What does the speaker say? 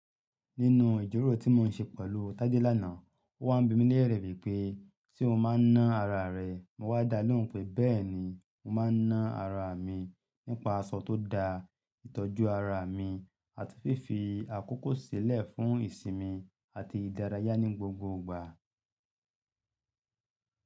Nínú ìjíròrò tí mò ń ṣe pẹ̀lú Tádé lánàá, ó wá ń bi mí ní lẹ̀rẹ̀ wípé, "ṣé o máa ń ná ara rẹ?" Mo wá dalẹ́ òun pé “bẹ́ẹ̀ni, mo máa ń ná ara mi nípa aṣọ tó da, ìtọ́jú ara mi, àti fífi àkókò sílẹ̀ fún ìsinmi àti ìdárayá ní gbogbo ìgbà.”